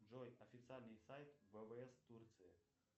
джой официальный сайт ввс турции